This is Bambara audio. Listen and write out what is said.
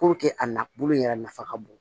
a na bolo yɛrɛ nafa ka bon